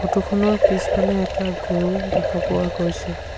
Photo খনৰ পিছফালে এটা গৰু দেখা পোৱা গৈছে।